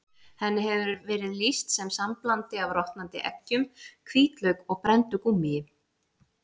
Henni hefur verið lýst sem samblandi af rotnandi eggjum, hvítlauk og brenndu gúmmíi.